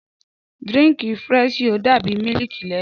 Dírìnkí firẹṣiyò dàbí mílìkí lẹnu.